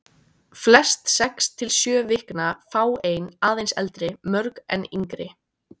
Flest sex til sjö vikna, fáein aðeins eldri, mörg enn yngri.